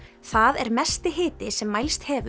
það er mesti hiti sem mælst hefur